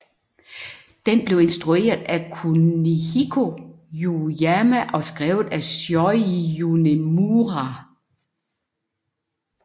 Den blev instrueret af Kunihiko Yuyama og skrevet af Shoji Yonemura